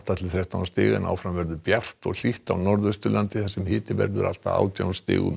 til þrettán stig en áfram verður bjart og hlýtt á Norðausturlandi þar sem hiti verður allt að átján stigum